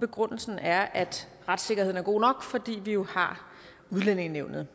begrundelsen er at retssikkerheden er god nok fordi vi jo har udlændingenævnet